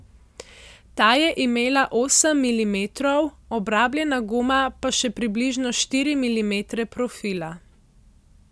Ta je imela osem milimetrov, obrabljena guma pa še približno štiri milimetre profila.